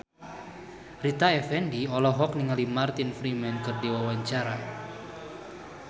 Rita Effendy olohok ningali Martin Freeman keur diwawancara